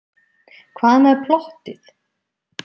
Hvað með plottið?